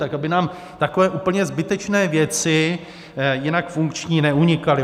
Tak aby nám takové úplně zbytečné věci jinak funkční neunikaly.